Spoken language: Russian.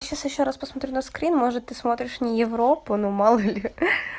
сейчас ещё раз посмотрю на скрин может ты смотришь не европу но мало-ли